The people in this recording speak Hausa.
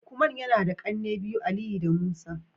lukman yana da kanne biyu, Aliyu da Musa